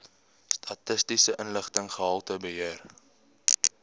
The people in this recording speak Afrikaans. statistiese inligting gehaltebeheer